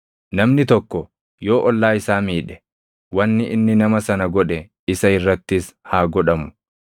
Namni tokko yoo ollaa isaa miidhe, wanni inni nama sana godhe isa irrattis haa godhamu;